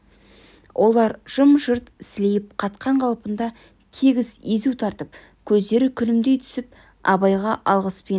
олар жым-жырт сілейіп қатқан қалпында тегіс езу тартып көздері күлімдей түсіп абайға алғыспен